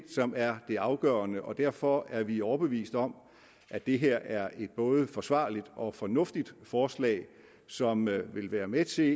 er det afgørende og derfor er vi overbevist om at det her er et både forsvarligt og fornuftigt forslag som vil vil være med til